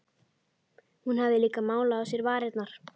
Hún hafði líka málað á sér varirnar.